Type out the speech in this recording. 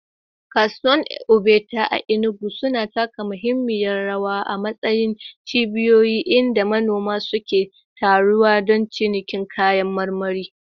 Kasuwar Ogbete a Enugu sun taka muhimmiyar rawa a matsayin cibiyoyi inda manoma suke taruwa don cinikin kayan marmari.